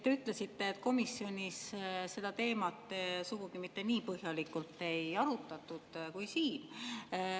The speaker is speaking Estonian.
Te ütlesite, et komisjonis seda teemat sugugi mitte nii põhjalikult ei arutatud kui siin.